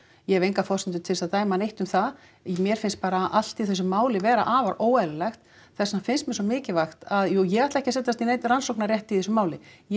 ég hef engar forsendur til þess að dæma neitt um það mér finnst bara allt í þessu máli vera afar óeðlilegt þess vegna finnst mér svo mikilvægt að jú ég ætla ekki að setjast í neinn rannsóknarrétt í þessu máli ég